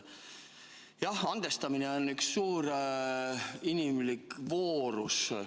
Jah, andestamine on suur inimlik voorus.